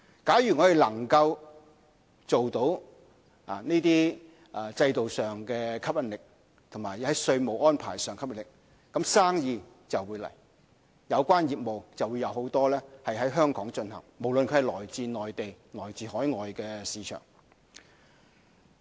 假如我們能夠既在這些制度上具有吸引力，也在稅務安排上有吸引力，就會有生意，就會有許多有關業務在香港進行，無論是來自內地或海外的市場。